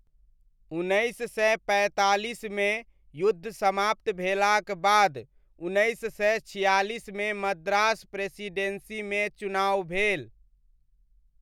उन्नैस सय पैँतालीसमे युद्ध समाप्त भेलाक बाद उन्नैस सय छिआलिसमे मद्रास प्रेसिडेन्सीमे चुनाव भेल।